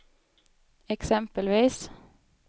exempelvis